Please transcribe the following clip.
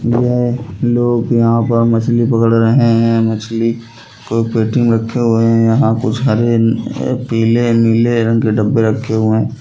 ये लोग यहाँ पर मछली पकड़ रहे हैं। मछली को पेटी में रखे हुए हैं। यहाँ कुछ हरे पीले नीले रंग के डब्बे रखे हुए।